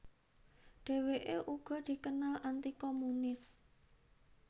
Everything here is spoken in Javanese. Dheweke uga dikenal anti komunis